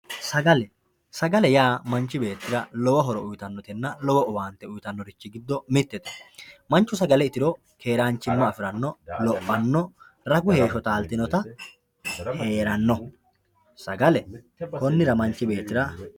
sagale sagale yaa manchi beettira lowo horo uyiitannotenna lowo owaante uyiitanori giddo mittete manchu sagale itiro keeranchimma afiranno, lophanno, ragu heeshsho taaltinota heeranno sagale konnira manchi beettira.